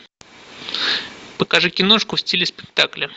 покажи киношку в стиле спектакля